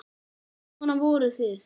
Svona voruð þið.